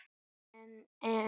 En en.